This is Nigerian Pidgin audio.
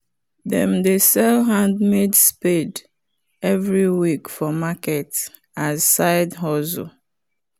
them dey sell handmade spade every week for market as side hustle